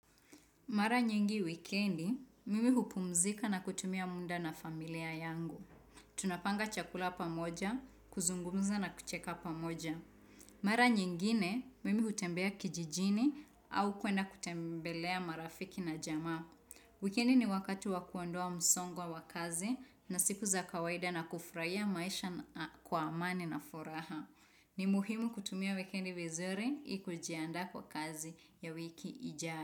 Mara nyingi wikendi, mimi hupumzika na kutumia muda na familia yangu. Tunapanga chakula pamoja, kuzungumza na kucheka pamoja. Mara nyingine, mimi hutembea kijijini au kwenda kutembelea marafiki na jamaa. Wikendi ni wakati wakuondoa msongo wa kazi na siku za kawaida na kufuraia maisha kwa amani na furaha. Ni muhimu kutumia wikendi vizuri ili kujianda kwa kazi ya wiki ijayo.